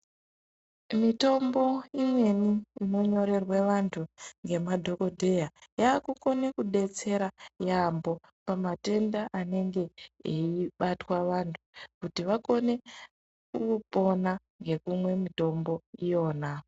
Mitombo imweni inonyorerwe vantu ngemadhogodheya yakukone kudetsera yaamho pamatenda anenge eibatwa vantu kuti vakone kupona ngekumwa mitombo iyona.